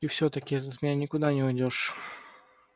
и всё-таки ты от меня никуда не уйдёшь